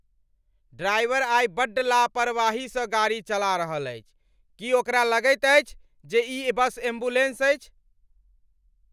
Driver आइ बड्ड लापरवाही सँ गाड़ी चला रहल अछि। की ओकरा लगैत अछि जे ई बस एम्बुलेंस अछि?